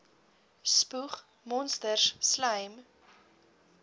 spoeg monsters slym